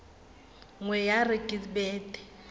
nngwe ya re ke bete